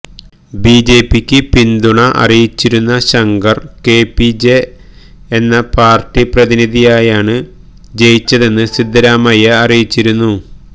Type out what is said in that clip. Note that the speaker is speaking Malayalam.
ബിജെപിക്ക് പിന്തുണ അറിയിച്ചിരുന്ന ശങ്കര് കെപിജെപി എന്ന പാര്ട്ടി പ്രതിനിധിയായാണ് ജയിച്ചതെന്ന് സിദ്ധരാമയ്യ അറിയിച്ചിരുന്നു